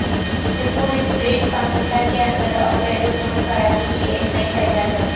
یہ food street Pakistan کے اندر اور بیرون ملک کراچی کی ایک نئی پہچان بنی